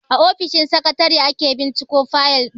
A ofishin sakatare ake binciko fayal din.